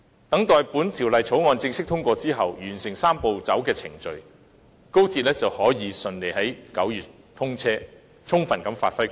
待《條例草案》正式通過，完成"三步走"的程序後，高鐵就可以順利在9月通車，充分發揮其作用。